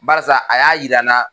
Barisa a y'a jira n na